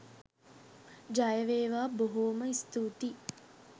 ජයවේවා.බොහෝ.ම ස්තූතියි!